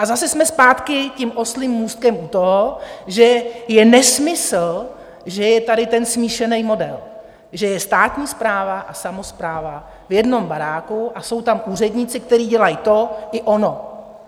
A zase jsme zpátky tím oslím můstkem u toho, že je nesmysl, že je tady ten smíšený model, že je státní správa a samospráva v jednom baráku a jsou tam úředníci, kteří dělají to i ono.